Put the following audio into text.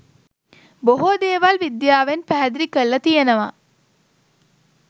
බොහෝ දේවල් විද්‍යාවෙන් පැහැදිලි කල්ල තියෙනව